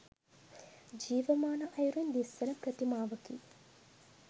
ජීවමාන අයුරින් දිස්වන ප්‍රතිමාවකි